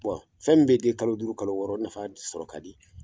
fɛn min bɛ den kalo duuru kalo wɔɔrɔ o nafa sɔrɔ ka di.